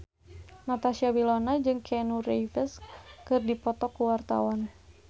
Natasha Wilona jeung Keanu Reeves keur dipoto ku wartawan